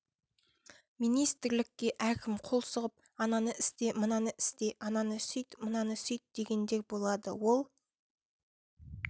министрлікке әркім қол сұғып ананы істе мынаны істе ананы сүйт мынаны сүйт дегендер болады ол